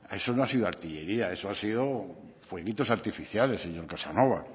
eso no ha sido artillería eso ha sido fueguitos artificiales señor casanova